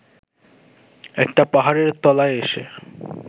একটা পাহাড়ের তলায় এসে